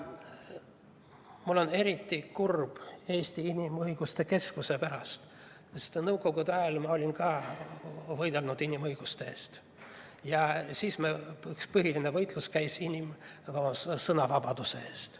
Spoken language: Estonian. Mul on eriti kurb Eesti Inimõiguste Keskuse pärast, sest nõukogude ajal ka mina võitlesin inimõiguste eest ja siis käis üks põhiline võitlus sõnavabaduse eest.